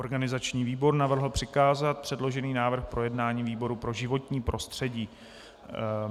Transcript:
Organizační výbor navrhl přikázat předložený návrh k projednání výboru pro životní prostředí.